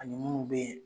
Ani munnu be yen